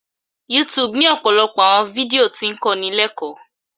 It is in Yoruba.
YouTube ni ọpọlọpọ awọn fidio ti ń kọni lẹkọ